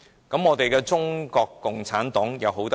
然而，中國共產黨又好到哪裏？